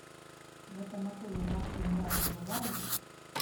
в этом отеле вообще няни бывают